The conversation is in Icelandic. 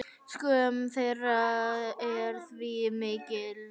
Skömm þeirra er því mikil.